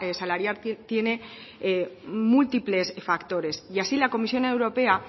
salarial tiene múltiples factores y así la comisión europea